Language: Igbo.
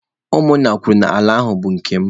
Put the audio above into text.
Ụmụ nna kwuru n'ala ahụ bụ nke m.